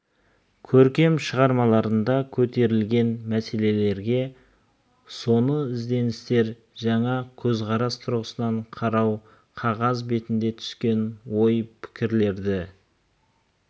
көркем шығармаларында көтерілген мәселелерге соны ізденістер жаңа көзқарас тұрғысынан қарау қағаз бетіне түскен ой пікірлерді